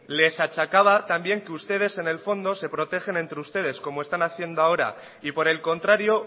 les achacaba también que ustedes en el fondo se protegen entre ustedes como están haciendo ahora y por el contrario